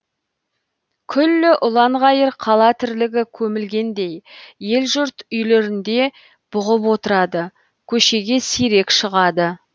күллі ұланғайыр қала тірлігі көмілгендей ел жұрт үйлерінде бұғып отырады көшеге сирек шығады